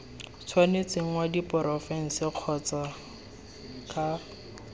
tshwanetseng wa diporofense kgotsa c